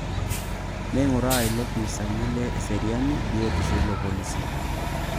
Neing'uraa ilopisaani le eseriani biotisho ilo polisi